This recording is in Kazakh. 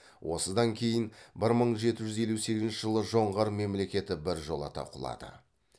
осыдан кейін бір мың жеті жүз елу сегізінші жылы жоңғар мемлекеті біржолата құлады